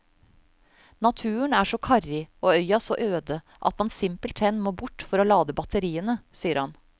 Naturen er så karrig og øya så øde at man simpelthen må bort for å lade batteriene, sier han.